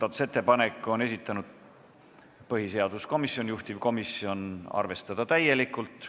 Selle on esitanud põhiseaduskomisjon ja juhtivkomisjoni otsus on arvestada täielikult.